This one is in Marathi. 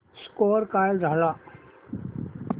स्कोअर काय झाला